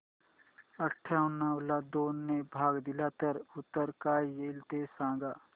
अठावन्न ला दोन ने भाग दिला तर उत्तर काय येईल ते सांगा